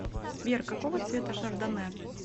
сбер какого цвета шардонне